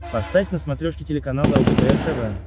поставь на смотрешке телеканал лдпр тв